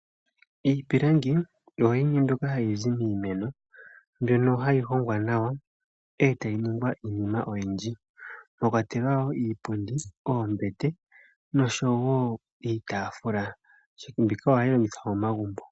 Iipilangi oyo yimwe mbyoka hayi zi miimeno mbyono hayi hongwa nawa e ta yi ningwa iinima oyindji mwa kwatelwa woo iipundi, oombete noshowo iitaafula. Mbika ohayi longithwa momagumbo.